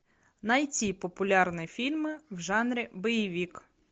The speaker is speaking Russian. найти популярные фильмы в жанре боевик